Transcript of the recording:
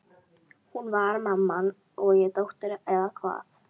Hún var mamman og ég dóttirin, eða hvað?